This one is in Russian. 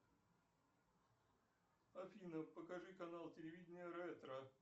афина покажи канал телевидения ретро